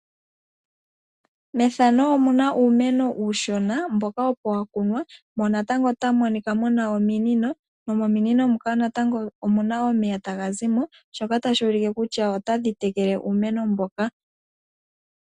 Methano omu na uumeno uushona mboka opo wa kunwa mo natango otamu monika mu na ominino, nomominino muka omuna natango omuna omeya taga zi mo shoka tashi ulike kutya otadhi tekele uumeno mbuka.